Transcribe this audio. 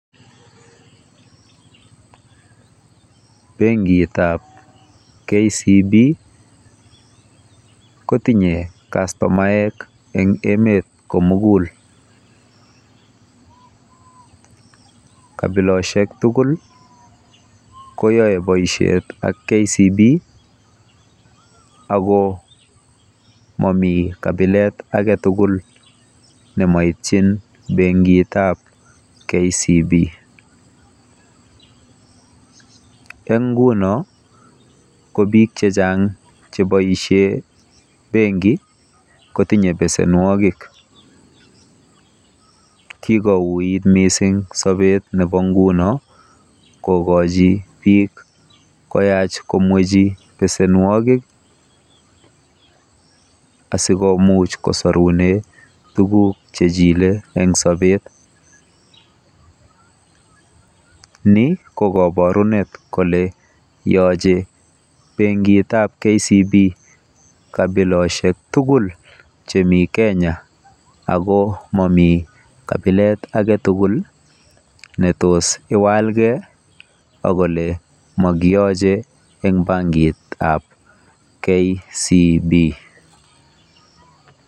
Benkitab KCB kotinye kastomaek eng emet komugul. Kabileshek tugul koyae boisiet ak KCB ako mami kapilet ake tugul nemoitchin bankitap KCB. ENg nguno ko bik chechang cheboisie benki kotinye besenwogik. Kikouit mising sobet nebo nguno kokochi bik koyach komwechi besenwogik asikomuch kosorune tuguk chejile eng sobet. Ni ko kabarunet kole yachei bankitab KCB kapiloshek tugul chemi kenya ako amami kapilet ake tugul netos iwalgei akole makiyache eng bankitab KCB.